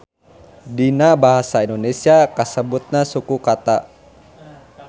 Dina basa Indonesia disebutna suku kata.